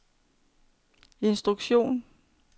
instruktion